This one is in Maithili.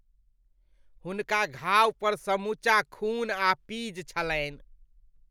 हुनका घावपर समूचा खून आ पीज छलनि।